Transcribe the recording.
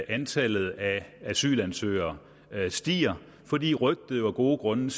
antallet af asylansøgere stiger fordi rygtet jo af gode grunde